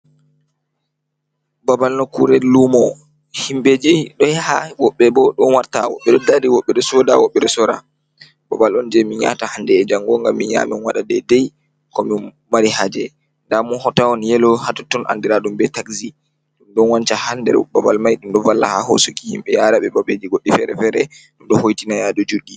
Babal nokkure luumo, himɓeji ɗo yaha woɓɓe bo ɗo warta, woɓɓe ɗo dari, woɓɓe ɗo sooda, woɓɓe ɗo soora. Babal on, je min yahata hande e jango ngam min yaha min waɗa dedei ko min mari haaje. Nda motahon yelo hatotton andiradum be takzi. Ɗum ɗo wanca ha nder babal mai ɗum ɗo valla ha hoosuki himɓe yaara ɓe babeeji goɗɗi feere-feere. Ɗum ɗo hoitina yaadu juɗɗi.